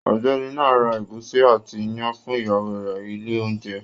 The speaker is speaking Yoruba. Ọ̀gbẹ́ni náà ra ẹ̀gúsí àti iyán fún ìyàwó rẹ̀ ilé oĺúnjẹ